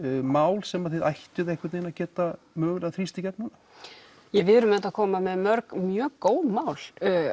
mál sem þið ættuð einhvern vegin að geta mögulega þrýst í gegn núna við erum auðvitað að koma með mörg mjög góð mál